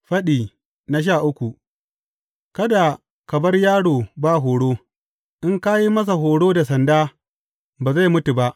Faɗi goma sha uku Kada ka bar yaro ba horo; in ka yi masa horo da sanda, ba zai mutu ba.